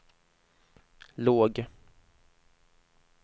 låg